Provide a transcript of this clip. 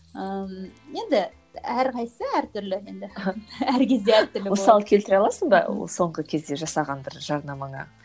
ыыы енді әрқайсысы әр түрлі енді әр кезде әр түрлі болады мысал келтіре аласың ба соңғы кезде жасаған бір жарнамаңа